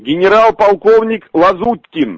генерал-полковник лазуткин